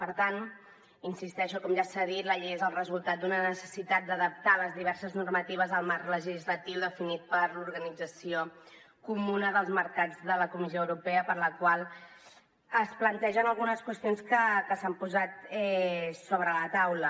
per tant hi insisteixo com ja s’ha dit la llei és el resultat d’una necessitat d’adaptar les diverses normatives al marc legislatiu definit per l’organització comuna dels mercats de la comissió europea pel qual es plantegen algunes qüestions que s’han posat sobre la taula